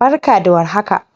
Barka da warhaka!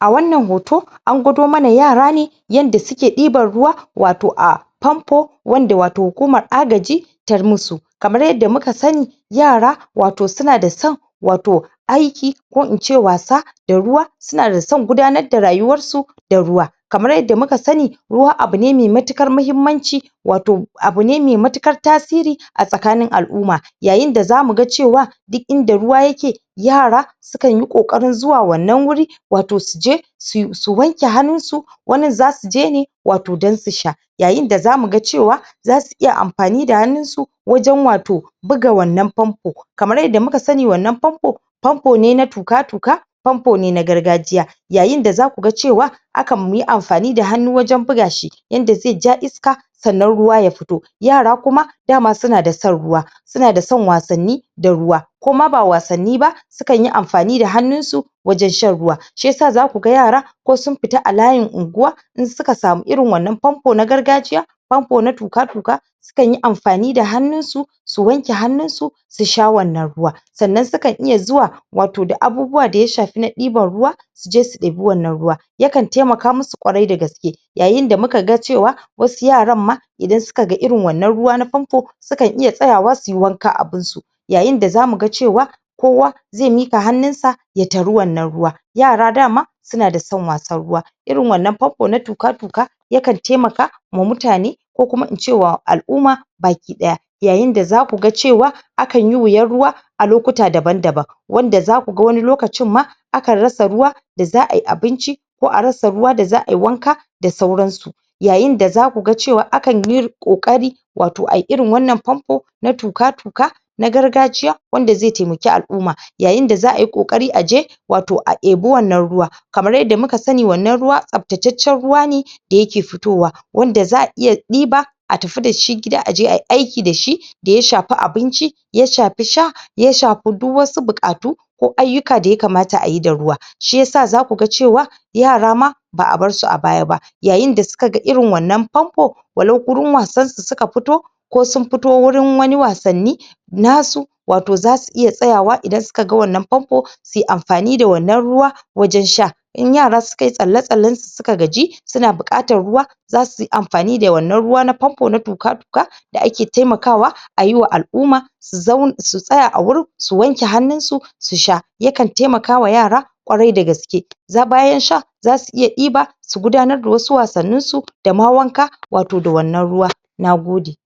a wannan hoto an gwado mana yara ne yanda suke ɗiban ruwa wato a famfo wanda wato hukumar agaji tar musu kamar yadda muka sanni yara wato suna da san wato aiki ko ince wasa da ruwa suna da san gudanar da rayuwarsu ds ruwa kamar yadda muka sanni ruwa abune mai matukar mahimmanci wato abune mai matukar tasiri a tsakanin al'umma yayin da zamu ga cewa di inda ruwa yake yara sukan yi ƙoƙarin zuwa wannan wuri wato su je sui su wanke hannun su wannan zasu je ne wato dan su sha yayin da zamu ga cewa zasu iya amfani da hannun su wajen wato buga wannan famfo kamar yanda muka sanni wannan famfo famfo ne na tuka-tuka famfo ne na gargajiya yayin da zaku ga cewa akanyi amfani da hannu wajen buga shi yanda zai ja iska sannan ruwa ya fito yara kuma dama suna da san ruwa suna da san wasanni da ruwa ko ma ba wasanni ba sukan yi amfani da hannun su wajen shan ruwa shiyasa zaku ga yara ko sun fita a layin unguwa in suka samu irin wannan famfo na gargajiya famfo na tuka-tuka kanyi amfani da hannun su su wanke hannun su su sha wannan ruwa sannan sukan iya zuwa wato da abubuwa da ya shafi na ɗiban ruwa su je su ɗebi wannan ruwa yakan taimaka musu ƙwarai da gaske yayin da muka ga cewa wasu yaran ma idan suka ga irin wannan ruwa na famfo sukan iya tsayawa suyi wanka abunsu yayin da zamu ga cewa kowa zai miƙa hannun sa ya tari wannan ruwa yara dama suna da san wasan ruwa irin wannan famfo na tuka-tuka yakan taimaka ma mutane ko kuma ince wa al'umma baki ɗaya yayin da zaku ga cewa akanyi wuyan ruwa a lokuta daban-daban wanda zaku ga wani lokacin ma akan rasa ruwa da za ai abinci ko a rasa ruwa da za ai wanka da sauran su yayin da zaku ga cewa akanyi ƙoƙari wato ai irin wannan famfo na tuka-tuka na gargajiya wanda zai taimuki al'umma yayin da za ayi ƙoƙari a je wato a ebi wannan ruwa kamar yadda muka sanni wannan ruwa tsaftataccen ruwa ne da yake futowa wanda za'a iya ɗiba a tafu dashi gida a je ai aiki dashi da ya shafi abinci ya shafi sha ya shafi duk wasu buƙatu ko ayyuka da yakamata ayi da ruwa shiyasa zaku ga cewa yara ma ba a bar su a baya ba yayin da suka ga irin wannan famfo walau gurin wasan su suka fito ko sun futo wurin wani wasanni nasu wato zasu iya tsayawa idan suka ga wannan famfo sui amfani da wannan ruwa wajan sha in yara sukai tsalle-tsallen su suka gaji suna buƙatar ruwa zasu yi amfani da wannan ruwa na famfo na tuka-tuka da ake taimakawa ayi wa al'umma su zau su tsaya a wurin su wanke hannun su su sha yakan taimakawa yara ƙwarai da gaske za bayan sha zasu iya ɗiba su gudanar da wasu wasannin su dama wanka wato da wannan ruwa Nagode!